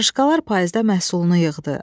Qarışqalar payızda məhsulunu yığdı.